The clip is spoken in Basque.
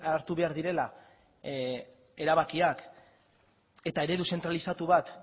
hartu behar direla erabakiak eta eredu zentralizatu bat